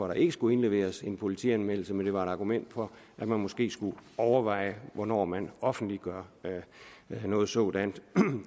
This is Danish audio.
der ikke skulle indleveres en politianmeldelse men det var et argument for at man måske skulle overveje hvornår man offentliggør noget sådant